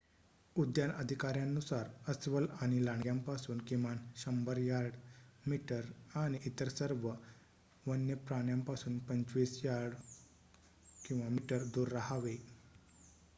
उद्यान अधिकाऱ्यांनुसार अस्वल आणि लांडग्यांपासून किमान १०० यार्ड/मीटर आणि इतर सर्व वन्य प्राण्यांपासून २५ यार्ड/मीटर दूर राहावे!